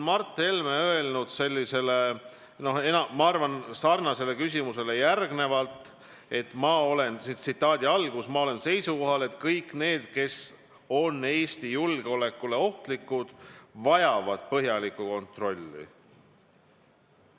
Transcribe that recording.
Mart Helme on öelnud, ma arvan, sarnasele küsimusele vastuseks järgnevalt: "Ma olen seisukohal, et kõik need, kes on Eesti julgeolekule ohtlikud, vajavad põhjalikku kontrolli.